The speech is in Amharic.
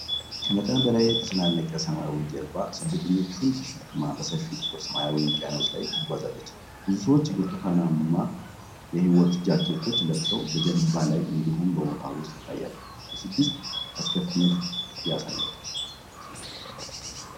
ከመጠን በላይ የተጨናነቀ ሰማያዊ ጀልባ ስደተኞችን ተሸክማ በሰፊው ጥቁር ሰማያዊ ውቅያኖስ ላይ ትጓዛለች። ብዙ ሰዎች ብርቱካንማ የሕይወት ጃኬቶችን ለብሰው በጀልባው ላይ እንዲሁም በውሃ ውስጥ ይታያሉ። የስደትን አስከፊነት ያሳያል።